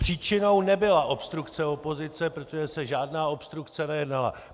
Příčinou nebyla obstrukce opozice, protože se žádná obstrukce nekonala.